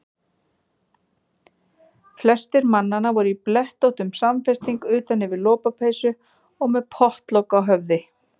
Flestir mannanna voru í blettóttum samfesting utan yfir lopapeysu og með pottlok á höfði.